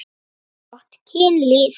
Gott kynlíf.